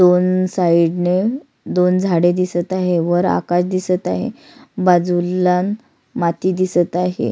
दोन साइड ने दोन झाडे दिसत आहे वर आकाश दिसत आहे बाजूला माती दिसत आहे.